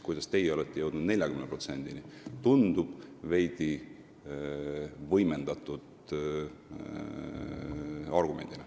See tundub olevat veidi võimendatud argument.